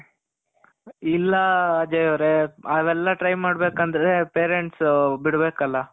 ಇಲ್ಲ ಅಜಯ್ ಅವ್ರೆ. ಅವೆಲ್ಲ try ಮಾಡ್ಬೇಕಂದ್ರೆ parents ಬಿಡ್ಬೇಕಲ